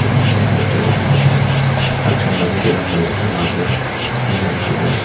hmuh tur a awm bawk a a chunglam veilam leh dinglam ah hian lamp uai thla--